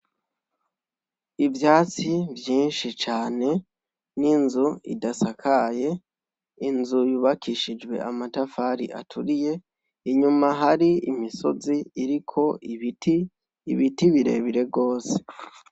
Ivyatsi vyinshi cane n'inzu idasakaye inzu yubakishijwe amatafari aturiye inyuma hari imisozi iriko ibiti, ibiti bire bire gose.